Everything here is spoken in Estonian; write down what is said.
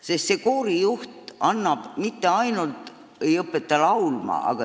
Sest koorijuht mitte ainult ei õpeta laulma.